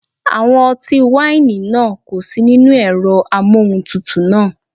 Àwọn ọtí wáìnì náà kò sí nínú ẹ̀rọ amóhuntutù náà.